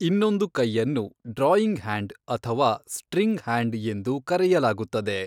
ಇನ್ನೊಂದು ಕೈಯನ್ನು drawing hand ಅಥವಾ ಸ್ಟ್ರಿಂಗ್ ಹ್ಯಾಂಡ್ ಎಂದು ಕರೆಯಲಾಗುತ್ತದೆ.